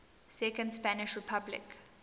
second spanish republic